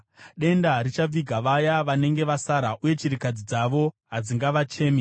Denda richaviga vaya vanenge vasara, uye chirikadzi dzavo hadzingavachemi.